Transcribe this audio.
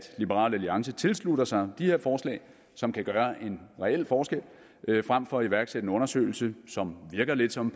liberal alliance tilslutter sig de her forslag som kan gøre en reel forskel frem for at iværksætte en undersøgelse med som virker lidt som